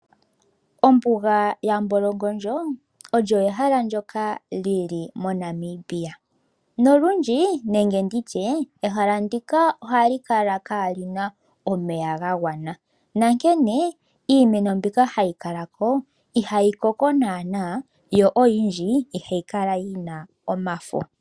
Ombuga yaMbolongondjo olyo ehala ndyoka li li moNamibia nolundji ehala ndika ohali kala kaali na omeya ga gwana, onkene iimeno mbyoka hayi kala mo ihayi koko naanaa yo oyindji ihayi kala yi na omafo.